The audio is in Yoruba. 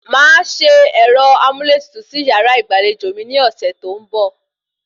Màá se ẹ̀rọ amúlétutù sí yàrá ìgbàlejò mi ní ọ̀sẹ̀ tó ń bọ̀